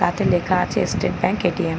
তাতে লেখা আছে স্টেট ব্যাঙ্ক এ.টি.এম ।.